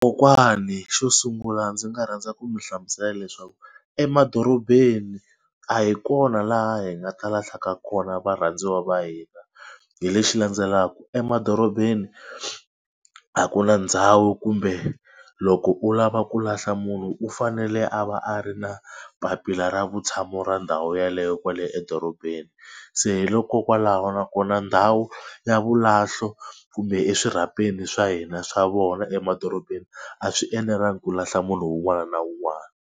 Kokwani xo sungula ndzi nga rhandza ku mi hlamusela leswaku emadorobeni a hi kona laha hi nga ta lahlaka kona varhandziwa va hina hi lexi landzelaka emadorobeni a ku na ndhawu kumbe loko u lava ku lahla munhu u fanele a va a ri na papila ra vutshamo ra ndhawu yeleyo kwale edorobeni. Se hi loko kwalaho nakona ndhawu ya vulahlo kumbe eswirhapeni swa hina swa vona emadorobeni a swi enelanga ku lahla munhu un'wana na un'wana.